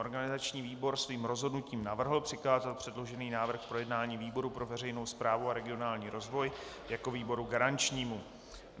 Organizační výbor svým rozhodnutím navrhl přikázat předložený návrh k projednání výboru pro veřejnou správu a regionální rozvoj jako výboru garančnímu.